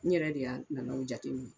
N yɛrɛ de y'a nana o jateminɛ